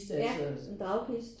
Ja en dragkiste